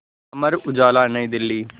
Amar Ujala New Delhi